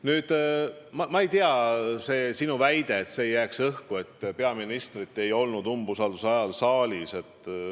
Nüüd sellest märkusest, et peaministrit ei olnud umbusalduse avaldamise ajal saalis.